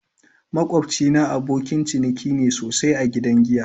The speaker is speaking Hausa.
Makwabcina abokin ciniki ne sosai a gidan giya.